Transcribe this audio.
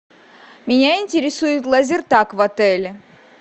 меня интересует лазертаг в отеле